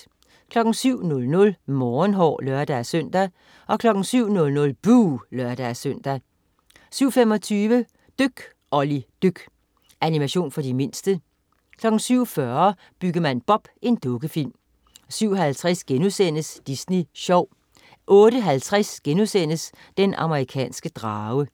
07.00 Morgenhår (lør-søn) 07.00 Buh! (lør-søn) 07.25 Dyk Olli dyk. Animation for de mindste 07.40 Byggemand Bob. Dukkefilm 07.50 Disney Sjov* 08.50 Den amerikanske drage*